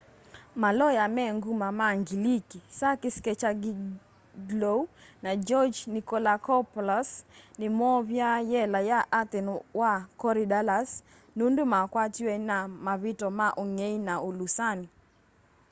maloya me nguma ma ngiliki sakis kechagioglou na george nikolakopoulos nimoovya y'ela ya athen wa korydallus nundu makwatiwe na mavityo ma ungei na ulusani